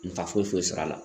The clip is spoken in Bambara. Nafa foyi sɔr'a la.